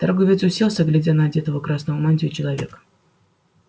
торговец уселся глядя на одетого красную мантию человека